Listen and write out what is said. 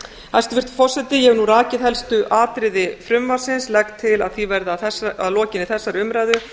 hæstvirtur forseti ég hef nú rakið helstu atriði frumvarpsins legg til að því verði að lokinni þessari umræðu